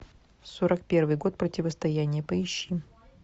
сорок первый год противостояние поищи